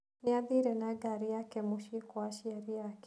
Nĩ aathire na ngari yake mũciĩ kwa aciari ake.